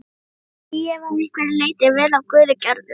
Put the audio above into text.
Því ég var að einhverju leyti vel af guði gerður.